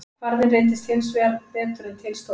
Kvarðinn reyndist hins vegar betur en til stóð.